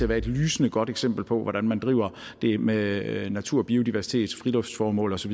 være et lysende godt eksempel på hvordan man driver det med natur og biodiversitet friluftsformål og så